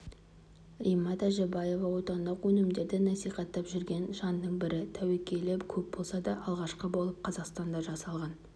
римма тәжібаева отандық өнімідерді насихаттап жүрген жанның бірі тәуекелі көп болса да алғашқы болып қазақстанда жасалған